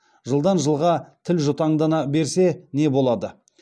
жылдан жылға тіл жұтаңдана берсе не болады